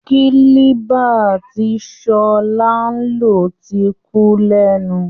Kílíbà tí sọlá ń lò ti kú lẹ́nu